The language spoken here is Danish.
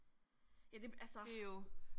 Ja det altså